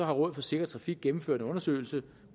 rådet for sikker trafik gennemført en undersøgelse